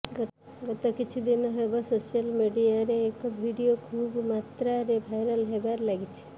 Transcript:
ଗତ କିଛି ଦିନ ହେବ ସୋସିଆଲ ମିଡିଆରେ ଏକ ଭିଡିଓ ଖୁବ ମାତ୍ରାରେ ଭାଇରାଲ ହେବାରେ ଲାଗିଛି